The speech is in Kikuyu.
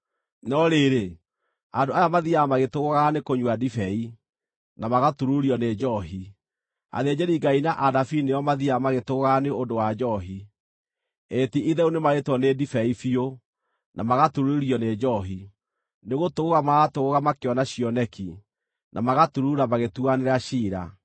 No rĩrĩ, andũ aya mathiiaga magĩtũgũũgaga nĩkũnyua ndibei, na magatururio nĩ njoohi: athĩnjĩri-Ngai na anabii nĩo mathiiaga magĩtũgũũgaga nĩ ũndũ wa njoohi, ĩĩ ti-itherũ nĩmarĩtwo nĩ ndibei biũ, na magatururio nĩ njoohi; nĩgũtũgũũga maratũgũũga makĩona cioneki, na magaturuura magĩtuanĩra ciira.